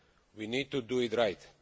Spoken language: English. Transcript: We need to do it right.